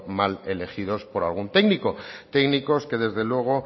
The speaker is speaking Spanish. mal elegidos por algún técnico técnicos que desde luego